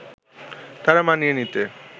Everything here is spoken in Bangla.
তারা মানিয়ে নিতে